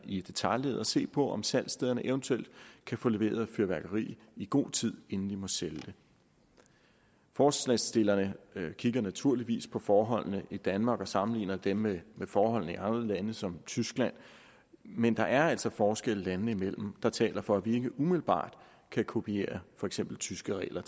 i detailleddet og se på om salgsstederne eventuelt kan få leveret fyrværkeri i god tid inden de må sælge det forslagsstillerne kigger naturligvis på forholdene i danmark og sammenligner dem med forholdene i andre lande som tyskland men der er altså forskelle landene imellem der taler for at vi ikke umiddelbart kan kopiere for eksempel tyske regler